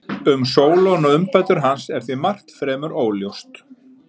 Um Sólon og umbætur hans er því margt fremur óljóst.